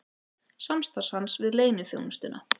Samstarf hans við leyniþjónustuna